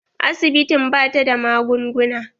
Asibitin ba ta da magunguna.